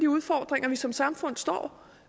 udfordringer vi som samfund står